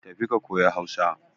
Tafi ka koyi Hausa.